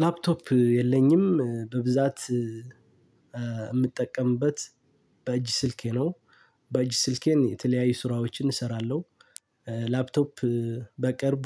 ላፕቶፕ የለኝም በብዛት የምጠቀምበት በእጅ ስልኬ ነው። በእጅ ስልኬን የተለያዩ ስራዎችን እሰራለሁ። ላፕቶፕ በቅርቡ